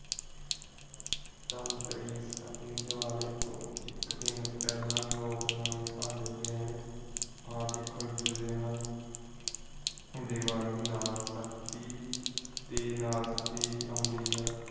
ਧਨਤੇਰਸ ਅਤੇ ਦੀਵਾਲੀ ਤੋਂ ਇਕ ਦਿਨ ਪਹਿਲਾ ਲੋਕ ਨਵੇਂ ਭਾਂਡੇ ਗਹਿਣੇ ਆਦਿ ਖਰੀਦ ਦੇ ਹਨ। ਦੀਵਾਲੀ ਨਾਲ ਸਰਦੀ ਦੇ ਨਾਲ ਸਰਦੀ ਭੀ ਨਦੀ ਹੈ।